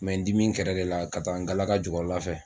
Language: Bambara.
Kun bɛɛ dimi kɛra de la ka taa n galaka jukɔrɔlafɛ.